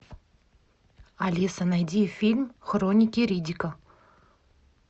алиса найди фильм хроники риддика